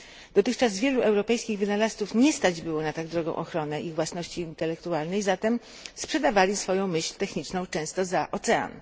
Dotychczas wielu europejskich wynalazców nie stać było na tak drogą ochronę ich własności intelektualnej, zatem sprzedawali swoją myśl techniczną często za ocean.